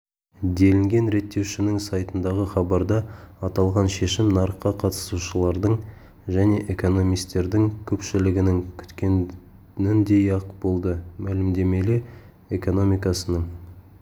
делінген реттеушінің сайтындағы хабарда аталған шешім нарыққа қатысушылардың және экономистердің көпшілігінің күткеніндей-ақ болды мәлімдемеле экономикасының